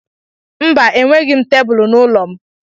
Mba, enweghị m tebulu n'ụlọ m.